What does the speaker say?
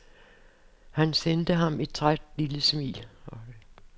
Han sendte ham et lille, træt smil.